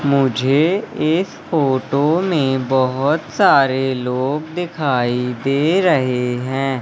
मुझे इस फोटो में बहोत सारे लोग दिखाई दे रहे हैं।